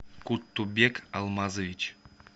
куттубек алмазович